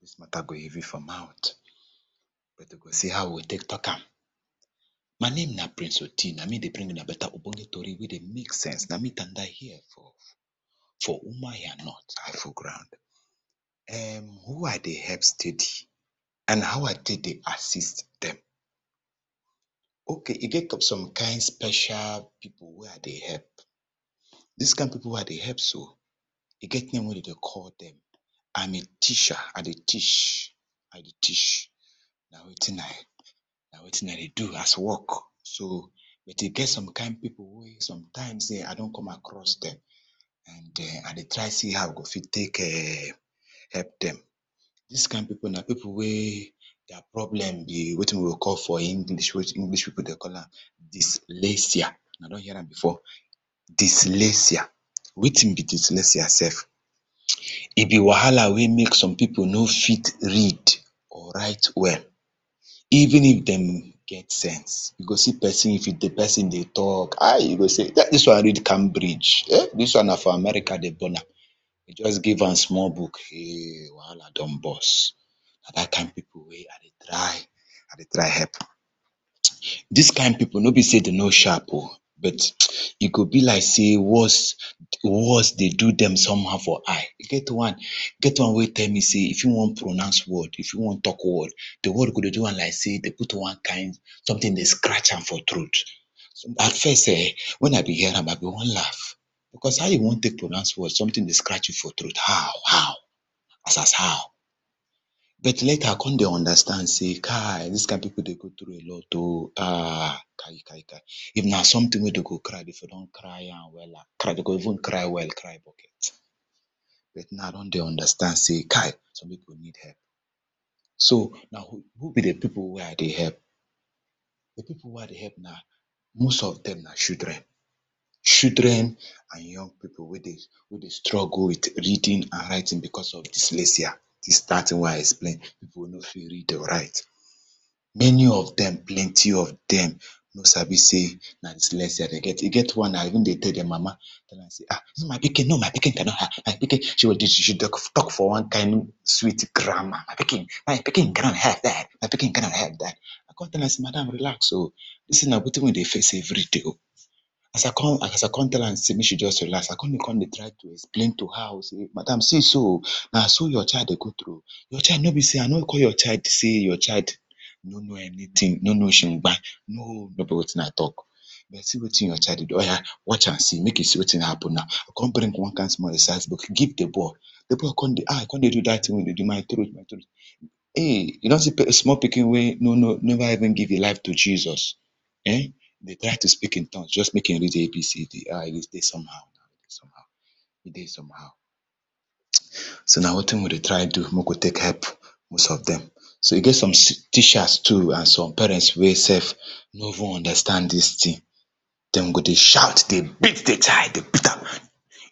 Dis matter go heavy for mouth, but we go see how we go take talk am my name na prince Oti na me dey bring una better ogbonge tory wey dey make sense, na me tanda here for Umuahia north, I full ground. [ urn] who I dey help steady and how I take dey assist dem, okay e get some kind special people wey I dey help, dis people wey I dey help so, e get name wey dem dey call dem. Am a teacher, I dey teach I dey teach, na wetin I na wetin I dey do as work so but e get some kind people wey some time wey I don come across, and we dey try to see how we go fit take [urn] help dem. Dis people na people wey their problem na wetin we dey call for English, wetin we dey call am, dyslexia, una don hear am before? Wetin be dyslexia sef, e be wahala wey make some people no fit read or write well, even if dem get sense, you go see person if di person dey talk, ah, you go sey dis one read Cambridge, dis one na for America dem born am, but just give am small book ehh, wahala don bos, na dat kind people wey I dey try, I dey try help. Dis kind people nor be sey dem no sharp oh, but e go be like sey words words dey do dem somehow for eye, e get one wey tell me sey, if e wan talk word, pronounce word, di word go dey do am like sey dem dey scratch am for throat. I sure sey[um], wen I dey hear am I go wan laugh because how you wan take pronounce word something dey scratch you for throat, how, how how as as how, but later I come dey understand sey kai, dis kind people dey go through a lot oh, kai kai kai. If na something wey dem go cry dem for don cry am, cry am wella, dem go even cry well, cry bucket full, but now I don dey understand sey kai, some people need help. So na who be di people wey I dey help, di people wey I dey help na, most of dem na children, children and young people wey dem dey go through, wey dey struggle with reading and writing because of dyslexia, dat thing wey I explain, people no fit read to write, many of dem, plenty of dem no sabi sey na dyslexia dem get, e get one I even dey tell di mama, no pikin, my pikin does not have, she dey talk for one kind sweet grammar, my pikin gonna have der, my pikin gonna have der. Come tell am sey madam relax oh, dis thing na wetin we dey face every day oh, as I come as I come tell am sey make she come relax, I come dey try to explain to her oh, madam see so, na so your child dey go through oh no be sey, I no call your child sey your child no know anything, no know shimgbai, no be wetin I talk. But see wetin your child dey oya watch and see make you see wetin go happen now, I come bring one small exercise book give di boy, di boy come dey ah, e come dey remind me my throat my throat, eh, you don see small pikin wey no never even give imm life to Jesus dey try to speak in tongues just make im read ABCD, ah e dey somehow, e dey somehow, e dey somehow so na wetin we dey try do make we take help most of dem, so e get some teachers too and some parents wey sef no even understand dis thing, dem go dey shout dey beat di child, beat am,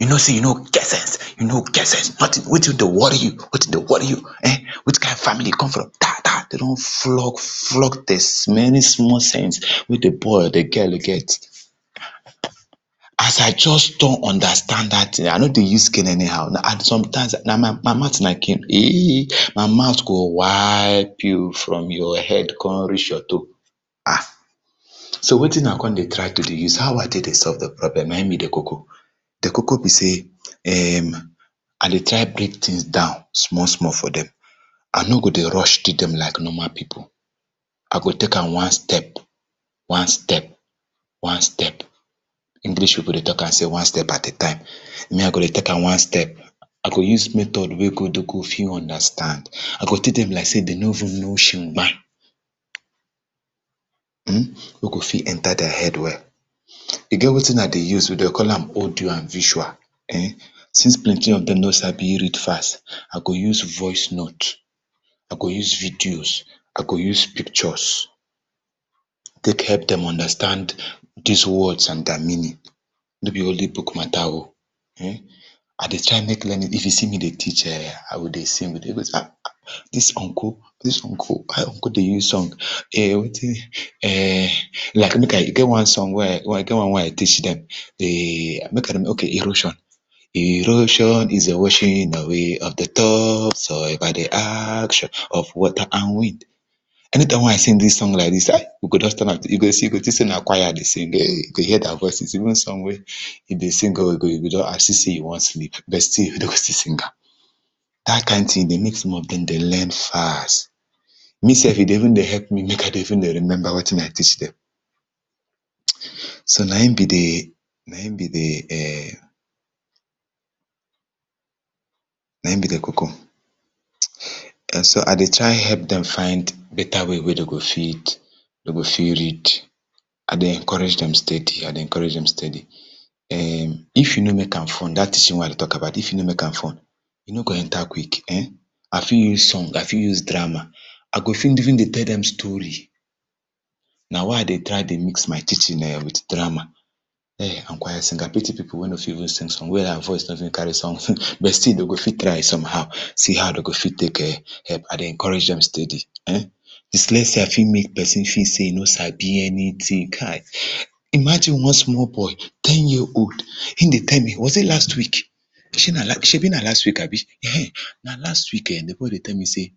you know sey you no get get sense, you no get sense, nothing wetin dey worry you, wetin dey worry you,[um]which kind family you come from, thaa, dem don flog flog di remaining small sense wen di boy or di girl get. As I just don understand thing, I no dey use cane anyhow now, I just sometimes my mouth na cane, eh, my mouth go wipe you from your head come reach your toe. So na wetin I come dey try to dey use, how I dey solve di problem[um], no be di koko, di koko be sey, [urn] I dey try break things down small small for dem, I nor dey try rush dem like normal people. I go take am one step, one step, one step, one step. English people dey talk am sey one step at a time, me I go take am one step, I go use method wey dem go fit understand. I go take dem like sey dem no even know shimgbai, wey go fit enter their head well. E get wetin I dey use we dey call am, audio and visual [urn] since plenty of dem no sabi read fast, I go use voice notes, I go use videos, I go use pictures, take help dem understand dis words and their meanings, no be only book matter oh,[um]I dey try make learning, if you see me dey teach[um], I go dey sing, dem go dey sey, ahn, dis uncle, dis uncle dey use song [urn] like e get one wey I teach dem, make I okay, erosion, erosion is di washing away of di top soil by di action of water and wind. Any time wey I sing dis song like dis, we go turn am to, you go think sey na choir dey sing, you go hear their voices, even some wey if dem sing e go, e go just as if sey dem wan sing, but still dem go still sing am, dat kind thing e dey make some of dem dey learn fast, me sef e dey even dey help me make I dey even dey remember wetin I teach dem. So na im be di, na im be di [urn] na im be di koko, so I dey try help dem find better way wey dem go fit dem fit read, I dey encourage dem steady, I dey encourage dem steady, [urn] if you no make am fun, dat dis thing wey I dey talk about if you no make am fun e no go enter quick,[um], I fit use song, I fit use drama, I go fit even dey tell dem story, na why I dey try to mix my teaching with drama, and choir singing I pity people wey no fit even sing, wey their voice no fit carry song, but still dem go still try somehow dem go fit take [urn] I dey encourage dem steady, [urn] dyslexia fit make person fit sey e no sabi anything kai, imagine one small boy, ten year old im dey tell me, was it last week, shebi na last shebi na last week abi, ehen na last week, di boy dey tell me sey,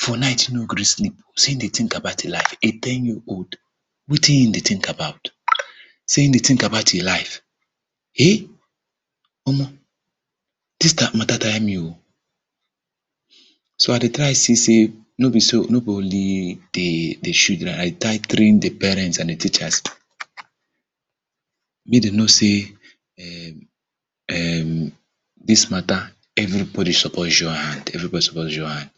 for night e no gree sleep, sey in dey think about in life a ten year old, wetin in dey think about, sey in dey think about im life, eh, omor, dis matter tire me oh, so idey try see sey, no be so no be only di children, I dey try train di parents, I dey train di teachers, make dem know sey [ur n ] dis matter, everybody suppose join hand, everybody suppose join hand,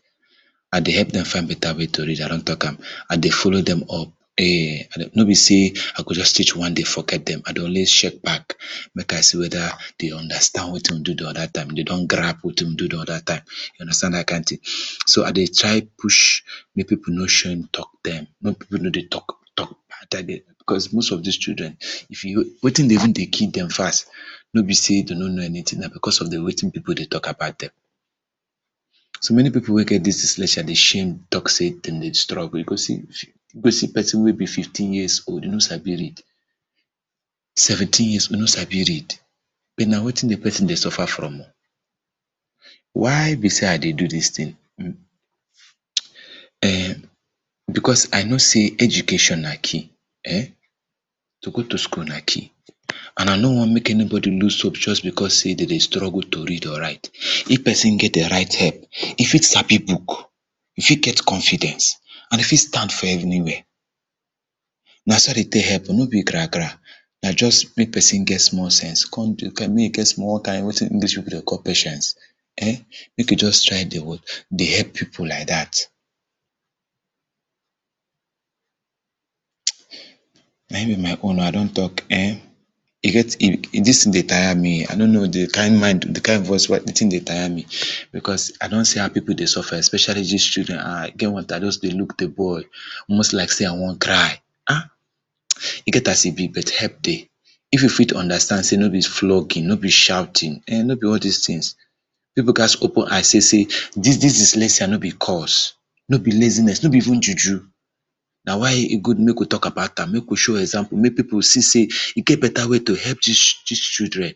I dey find better way to help dem read, I don talk am I dey follow dem up, [urn] nor be sey I go just teach one day forget dem, I dey always check back, make I see whether dem understand wetin we do di oda time, if dem don grab wetin we do di oda time, you understand dat kind thing. So I dey try push, make people no shame talk dem, make people no dey talk talk dem because most of dis children, if you no, wetin dey even dey kill dem fast no be sey dem no know anything, na because of di wetinn people dey talk about dem. So many people wy get dis dyslexia dey shame dey talk sey dem dey struggle, sey you go see person wey be fifteen years old, e no sabi read, seventeen years old, e no sabi read, but na wetin di person dey suffer from oh, why be sey I dey do dis thing, [urn] because I know sey education na key, to go to school na key, and I no want make anybody lose hope just because sey dem dey struggle to read or write, if person get e right head, e fit sabi book,, e fit get confidence, and e fit stand for everywhere na so I tell dem, no be gra gran a just make person get small sense, make e get wetin dey call am wetin English people dey call patience, make e just try dey work, dey help people like dat, na im be my own oh, I don talk. E get dis thing ey tire me, I no know di kind mind, di kind voice wey, di thing dey tire me because I don see how people dey suffer, especially dis children, ah e get one time I just dey look di boy, almost like sey I wan cry, ah, e get as e be but help dey, if we fit understand sey no be flogging, no be shouting[um], no be all dis thing, people gats open eye see sey, dis dyslexia no be curse, no be laziness no be even juju, na why e good make we talk about am, make we show example make people see sey, e get better way to help dis dis children.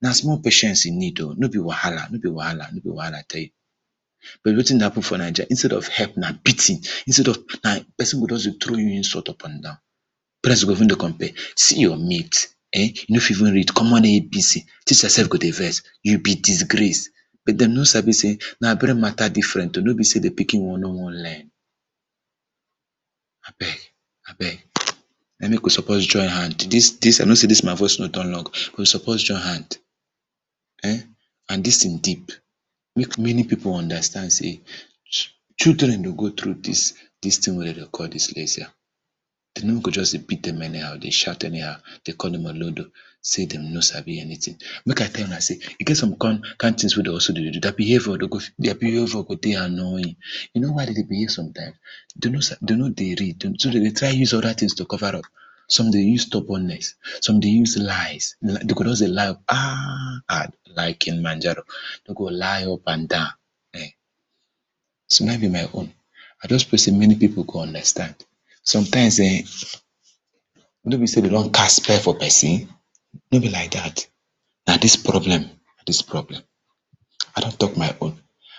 Na small patience e need oh, no be wahala, no be wahala, no be wahala I tell you. But wetin dey happen for Naija instead of help na beating, instead of person go just dey throw you insult, up and down, person go even dey compare see your mate [urn] you no fit even read, common ABC. You sef go dey vex, you be disgrace, dem no sabi sey na brain matter dey different oh, no be sey di pikin no wan learn abeg abeg, na im make we suppose join hand, dis my I know sey dis my voice no don we suppose join hand[um], and dis thing deep, make many people understand sey, children dey go thorugh dis, dis thing wey dem dem call dyslexia, dem no go just dey beat dem anyhow dey shout anyhow, dem dey call dem olodo, sey dem no sabi anything, make I tell una ey e get some kind thing wey dem suppose dey do ther behavior, their behavior go dey annoying, you know why dem dey behave somtime, dem no dey read, dem no dey read, so dem dey try use oda things dey cover up. Some dey use stubbornness, some dey use lies, lie dem go just dey lie ahn ahn, like Kilimanjaro, dem g lie up and down, so na im be my own, I just pray sey many people go understand, sometimes[um], no be sey dem don cast spell for person, no be like dat, na dis problem, dis problem, I don talk my own,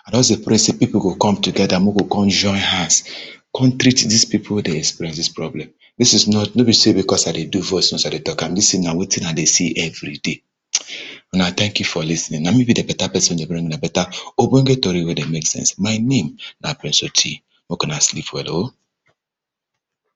I just dey pray sey people go come together make dem go come join hand, come treat dis people wey dey experience dis problem. Dis is not no be sey because I dey voice note, I dey talk am dis thing na wetin I dey see every day, una thank you for lis ten ing, na me be di di better person wey dey bring una, better ogbonge tory wey dey make sense, my name na price Oti make una sleep well oh.